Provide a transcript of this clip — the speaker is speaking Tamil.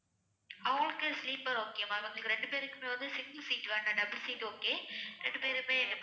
அவங்களுக்கு sleeper okay ma'am எங்க ரெண்டு பேருக்குமே வந்து single seat வேண்டா double seat okay ரெண்டு பேருமே